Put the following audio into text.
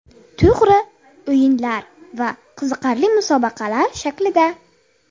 To‘g‘ri, o‘yinlar va qiziqarli musobaqalar shaklida.